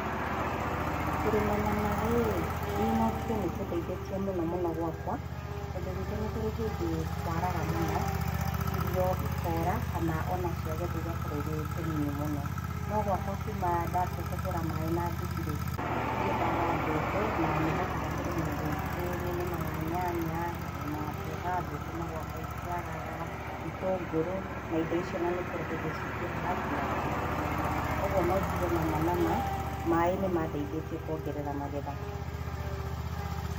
Kũrima na maaĩ rĩ, niĩ no njuge nĩ kũndeithĩtie mũnomũno gwakwa, tondũ gwitũ nĩ kũrĩ hĩndĩ kwaraga mũno, irio ikaũra kana o na ciagethwo igakorwo irĩ tũnini mũno. No gwakwa kuuma ndaambia kũhũra maaĩ na nduthi rĩ, ndirĩ ndaaga mbembe na nĩ hotaga kũrĩma indo ingĩ. Nĩ nĩmaga nyanya, ngarĩma mboga, thũkũma gwakwa itiagaga, itũngũrũ, na indo icio o na nĩ kũrĩ hĩndĩ ciingĩhaga nginya ngahota kwendia. Kwoguo no njuge nama nama maaĩ nĩ mandeithĩtie kũongerera magetha.